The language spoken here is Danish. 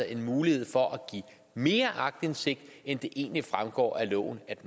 en mulighed for at give mere aktindsigt end det egentlig fremgår af loven at